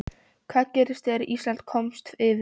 Hvað gerðist þegar Ísland komst yfir?